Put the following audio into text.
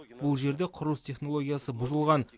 бұл жерде құрылыс технологиясы бұзылған